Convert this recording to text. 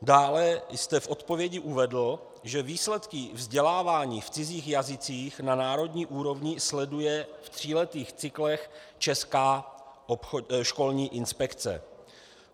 Dále jste v odpovědi uvedl, že výsledky vzdělávání v cizích jazycích na národní úrovni sleduje v tříletých cyklech Česká školní inspekce.